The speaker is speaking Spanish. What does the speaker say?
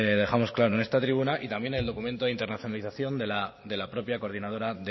dejamos claro en esta tribuna y también el documento de internalización de la propia coordinadora